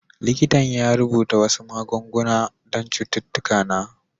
Likitan ya rubuta wasu magunguna don cututtuka na.